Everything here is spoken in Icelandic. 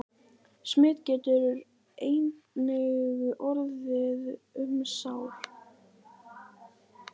Smit getur einnig orðið um sár.